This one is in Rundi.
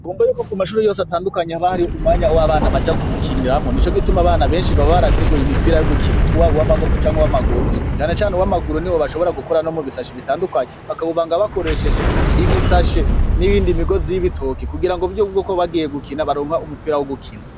Bumbe yuko ku mashuru yose atandukanyi abahari umwanya wabana baja guhikiniramwo ni co gituma bana benshi baba barateguye imipira y'ugukina uwaba uw'amaboko canke uw'amaguru janecane uw' amaguru ni bo bashobora gukora no mu bisashi bitandukanyi bakabubanga bakoresheshe ibisashe n'ibindi migozi y'ibitoke kugira ngo vyoubwoko bagiye gukina baronka umupira wo gukina.